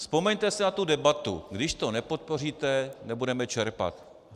Vzpomeňte si na tu debatu: když to nepodpoříte, nebudeme čerpat.